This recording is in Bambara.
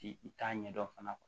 Ti i t'a ɲɛdɔn fana